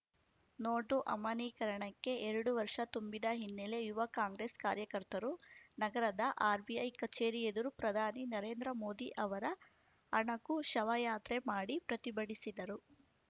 note ಅಮಾನೀಕರಣಕ್ಕೆ ಎರಡು ವರ್ಷ ತುಂಬಿದ ಹಿನ್ನೆಲೆ ಯುವ ಕಾಂಗ್ರೆಸ್‌ ಕಾರ್ಯಕರ್ತರು ನಗರದ ಆರ್‌ಬಿಐ ಕಚೇರಿ ಎದುರು ಪ್ರಧಾನಿ ನರೇಂದ್ರ ಮೋದಿ ಅವರ ಅಣಕು ಶವಯಾತ್ರೆ ಮಾಡಿ ಪ್ರತಿಭಟಿಸಿದರು